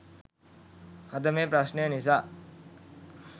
අද මේ ප්‍රශ්නය නිසා